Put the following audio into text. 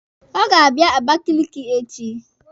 Ọ ga-abịa Abakaliki echi.